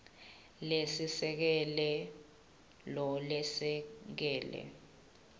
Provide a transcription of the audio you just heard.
lesiseke lo lesekela